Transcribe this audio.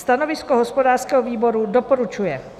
Stanovisko hospodářského výboru: doporučuje.